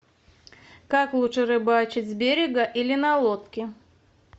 как лучше рыбачить с берега или на лодке